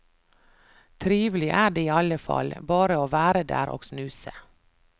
Trivelig er det iallefall, bare å være der og snuse.